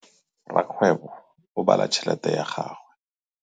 Rakgwêbô o bala tšheletê ya gagwe.